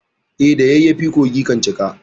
E, da yayyafi kogi kan cika.